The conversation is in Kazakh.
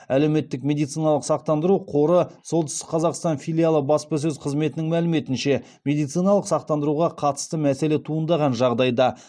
әлеуметтік медициналық сақтандыру қоры солтүстік қазақстан филиалы баспасөз қызметінің мәліметінше медициналық сақтандыруға қатысты мәселе туындаған жағдайда